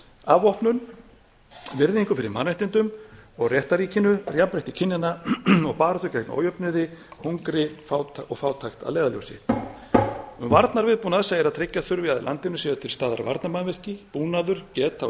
afvopnun virðingu fyrir mannréttindum og réttarríkinu jafnrétti kynjanna baráttu gegn ójöfnuði hungri og fátækt að leiðarljósi um varnarviðbúnað segir að tryggja þurfi að í landinu séu til staðar varnarmannvirki búnaður geta og